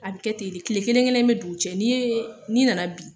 An bɛ kɛ ten de, tile kelen-kelen be don u cɛ n'i yee n'i nana bi